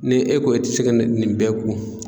Ni e ko e ti se ka ni nin bɛɛ kun